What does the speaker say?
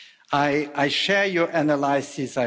I share your analysis